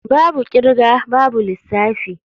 Babu kirga babu lissafi.